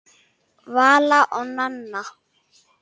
Vala og Nanna.